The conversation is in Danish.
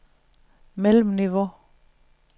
mellemniveau